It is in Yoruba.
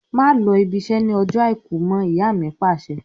Má lọ ibi iṣẹ́ ni ọjọ́ Àìkú mọ! Ìyá mi Pàṣẹ.